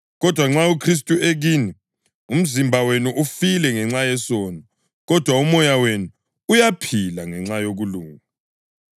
Kodwa nxa uKhristu ekini, umzimba wenu ufile ngenxa yesono, kodwa umoya wenu uyaphila ngenxa yokulunga.